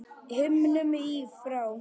himnum í frá